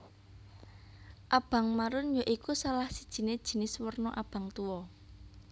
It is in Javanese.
Abang marun ya iku salah sijine jinis werna abang tuwa